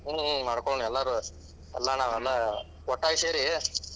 ಹ್ಮ್‌, ಹ್ಮ್‌ ಮಾಡ್ಕೋಳೋಣ ಎಲ್ಲಾರುವೆ, ಎಲ್ಲಾ ನಾವೆಲ್ಲಾ ಒಟ್ಟಾಗಿ ಸೇರಿ,